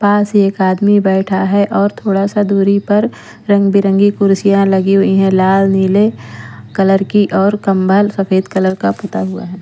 पास एक आदमी बैठा है और थोड़ा-सा दूरी पर रंग-बिरंगी कुर्सियाँ लगी हुई है लाल नीले कलर की और कम्भल सफेद कलर का पुता हुआ है।